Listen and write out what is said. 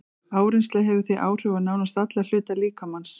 Áreynsla hefur því áhrif á nánast alla hluta líkamans.